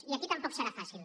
i aquí tampoc serà fàcil